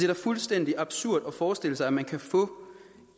da fuldstændig absurd at forestille sig at man kan få